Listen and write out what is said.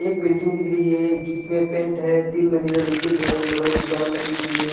एक बिल्डिंग दिख रही है जिसमें पेंट है तीन मंज़िला बिल्डिंग है लोहे की रौड लगी हुई है ।